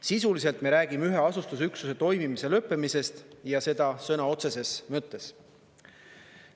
Sisuliselt me räägime ühe asustusüksuse toimimise lõppemisest ja seda sõna otseses mõttes.